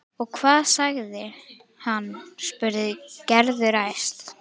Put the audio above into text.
Og hvað sagði hann? spurði Gerður æst.